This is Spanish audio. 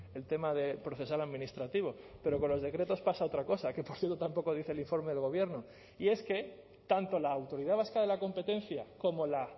el tema de procesal administrativo pero con los decretos pasa otra cosa que por cierto tampoco dice el informe del gobierno y es que tanto la autoridad vasca de la competencia como la